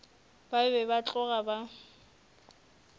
ba be ba tloga ba